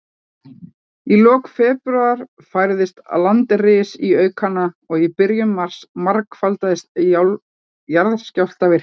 Í lok febrúar færðist landris í aukana, og í byrjun mars margfaldaðist jarðskjálftavirknin.